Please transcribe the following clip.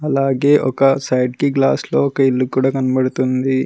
అలాగే ఒక సైడ్ కి గ్లాస్ లో ఒక ఇల్లు కూడా కనపడుతుంది.